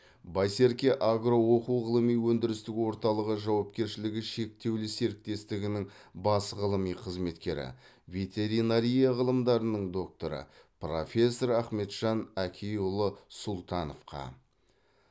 байсерке агро оқу ғылыми өндірістік орталығы жауапкершілігі шектеулі серіктестігінің бас ғылыми қызметкері ветеринария ғылымдарының докторы профессор ахметжан әкиұлы сұлтановқа